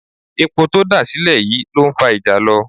Epo tó dà sílẹ̀ yìí ló ń fa ìjàlọ